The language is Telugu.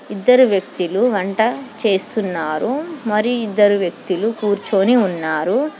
ఇద్దరు వ్యక్తిలు వంట చేస్తున్నారు మరి ఇద్దరు వ్యక్తులు కూర్చోని ఉన్నారు.